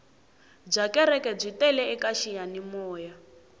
byakereke byi tele kaxiyani moya